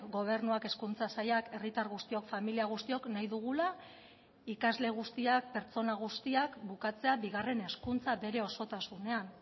gobernuak hezkuntza sailak herritar guztiok familia guztiok nahi dugula ikasle guztiak pertsona guztiak bukatzea bigarren hezkuntza bere osotasunean